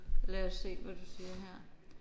Lad os se hvad du siger her